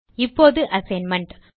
இப்போது அசைன்மென்ட்